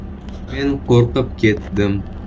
Men qo‘rqib ketdim.